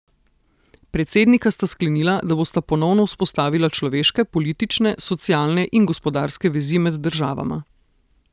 Predsednika sta sklenila, da bosta ponovno vzpostavila človeške, politične, socialne in gospodarske vezi med državama.